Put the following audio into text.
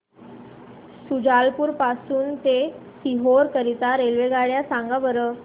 शुजालपुर पासून ते सीहोर करीता रेल्वेगाड्या सांगा बरं